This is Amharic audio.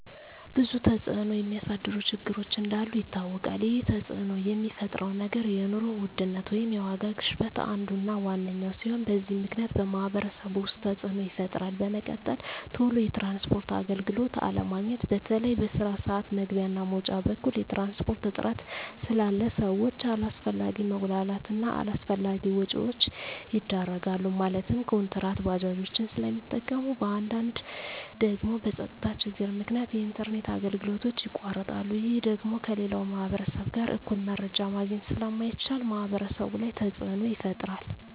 ብዙ ተፅዕኖ የሚያሳድሩ ችግሮች እንዳሉ ይታወቃል ይህ ተፅዕኖ የሚፈጥረው ነገር የኑሮ ውድነት ወይም የዋጋ ግሽበት አንዱ እና ዋነኛው ሲሆን በዚህ ምክንያት በማህበረሰቡ ውስጥ ተፅዕኖ ይፈጥራል በመቀጠል ቶሎ የትራንስፖርት አገልግሎት አለማግኘት በተለይ በስራ ስዓት መግቢያ እና መውጫ በኩል የትራንስፖርት እጥረት ስላለ ሰዎች አላስፈላጊ መጉላላት እና አላስፈላጊ ወጪዎች ይዳረጋሉ ማለትም ኩንትራት ባጃጆችን ስለሚጠቀሙ በአንዳንድ ደግሞ በፀጥታ ችግር ምክንያት የኢንተርኔት አገልግሎቶች ይቋረጣሉ ይህ ደግሞ ከሌላው ማህበረሰብ ጋር እኩል መረጃ ማግኘት ስለማይቻል ማህበረሰቡ ላይ ተፅዕኖ ይፈጥራል